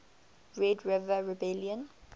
red river rebellion